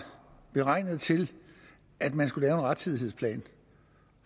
beregnet til at man skulle lave en rettidighedsplan